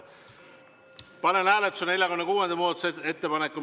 Panen hääletusele 46. muudatusettepaneku.